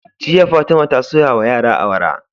Jiya fatima ta soya wa yara awara